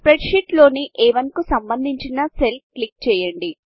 spreadsheet లోని అ1 కు సంబంధించిన సెల్ క్లిక్ చేయండి